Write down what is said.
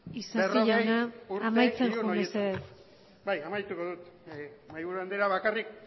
berrogei urte isasi jauna amaitzen joan mesedez bai amaituko dut mahaiburu andrea bakarrik